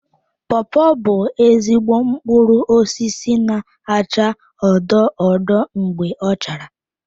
Pawpaw bụ ezigbo mkpụrụ osisi na-acha odo odo mgbe ọ chara.